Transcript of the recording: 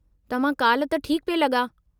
तव्हां काल्हि त ठीकु पिए लॻा।